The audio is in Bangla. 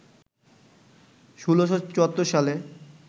১৬৭৪ সালে